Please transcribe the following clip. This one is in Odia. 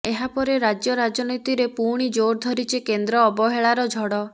ଏହା ପରେ ରାଜ୍ୟ ରାଜନୀତିରେ ପୁଣି ଜୋର ଧରିଛି କେନ୍ଦ୍ର ଅବହେଳାର ଝଡ଼